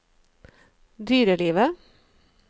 dyrelivet